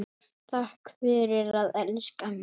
Takk fyrir að elska mig.